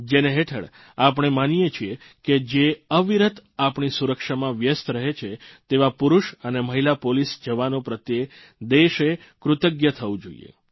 જેના હેઠળ આપણે માનીએ છીએ કે જે અવિરત આપણી સુરક્ષામાં વ્યસ્ત રહે છે તેવા પુરૂષ અને મહિલા પોલીસ જવાનો પ્રત્યે દેશે કૃતજ્ઞ થવું જોઇએ